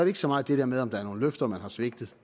ikke så meget det der med om der er nogle løfter man har svigtet